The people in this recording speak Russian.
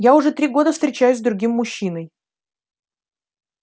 я уже три года встречаюсь с другим мужчиной